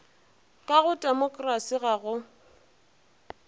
ka go temokerasi ga go